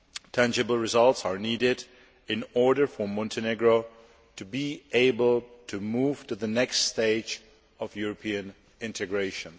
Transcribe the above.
Tangible results are needed in order for Montenegro to be able to move to the next stage of European integration.